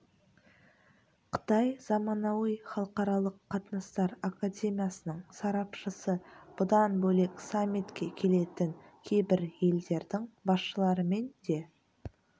қытай заманауи халықаралық қатынастар академиясының сарапшысы бұдан бөлек саммитке келетін кейбір елдердің басшыларымен де